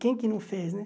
Quem que não fez, né?